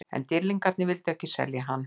En Dýrlingarnir vildu ekki selja hann.